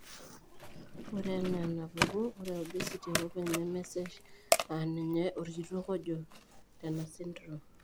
Ore anaa enapuku, ore obesity ake openy nemesesh aaninye orkitok ojo tenasindirom